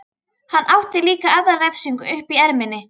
Hann átti líka aðra refsingu uppi í erminni.